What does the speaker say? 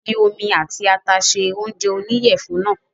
Fi omi àti ata se oúnjẹ oníyẹ̀fun náà